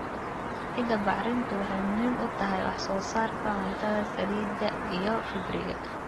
Ciidda bacrintu waxay muhiim u tahay wax soo saarka cuntada, saliidda, iyo fiberka.